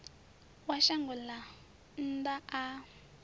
wa shango ḽa nnḓa a